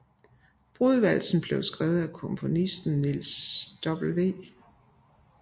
Brudevalsen blev skrevet af komponisten Niels W